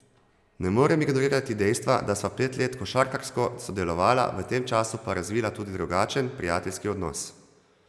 Ne morem ignorirati dejstva, da sva pet let košarkarsko sodelovala, v tem času pa razvila tudi drugačen, prijateljski odnos.